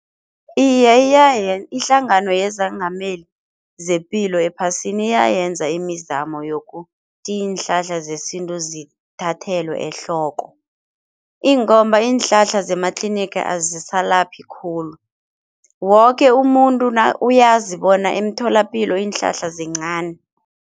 Iye ihlangano yezangameli zepilo ephasini iyayenza imizamo yokuthi iinhlahla zesintu zithathelwe ehloko ingomba iinhlahla zematliniga azisalaphi khulu, woke umuntu uyazi bona emtholapilo iinhlahla zincani.